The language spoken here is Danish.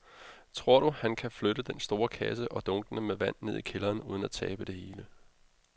Tror du, at han kan flytte den store kasse og dunkene med vand ned i kælderen uden at tabe det hele?